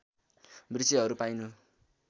वृक्षहरू पाइनु